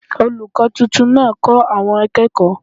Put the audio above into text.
Olùkọ́ tuntun náà kó àwọn akekooy